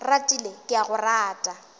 ratile ke a go rata